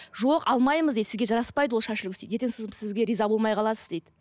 жоқ алмаймыз дейді сізге жараспайды ол шаш үлгісі дейді ертең сізге риза болмай қаласыз дейді